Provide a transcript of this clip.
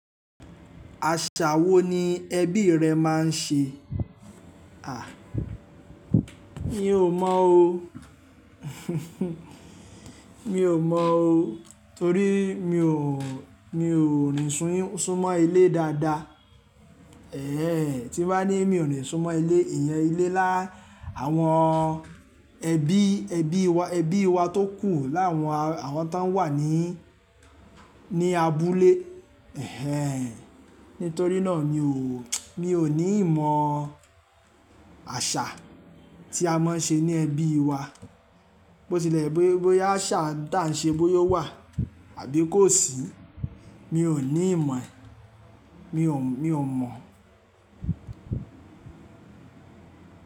Àṣà wo ni ẹbí rẹ máa ń ṣe? A! Mi ò mọ̀ o, mi ò mọ̀ o torí mi ò, mi ò ní súnmọ́ ilé dáadáa. Ẹ̀hẹn ehen tí bá ní mi ò ní súnmọ́ ilé, ìyẹn ilé lá àwọn ẹbí, ẹbí wa, ẹbí wa tó kù lá àwọn, àwọn tó wà ní, ní abúlé. Ẹ̀hẹn, nítorí náà mi ò, mi ò ní ìmọ̀ àṣà tí a máa ń ṣe ní ẹbí wa. Bó tilẹ̀ bóyá àṣà tí à ń ṣe bóyá wà àbí kò sí, mi ò ní ìmọ̀, mi ò, mi ò mọ̀.